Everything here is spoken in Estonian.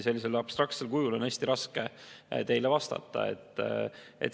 Sellisel abstraktsel kujul küsimusele on hästi raske vastata.